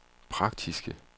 praktiske